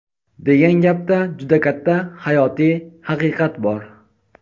degan gapda juda katta hayotiy haqiqat bor.